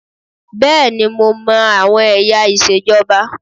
Bẹ́ẹ̀ni mo má àwọn ẹ̀yà ìṣèjọba